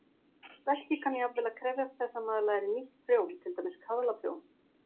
Verkið kann jafnvel að krefjast þess að maður læri nýtt prjón, til dæmis kaðlaprjón.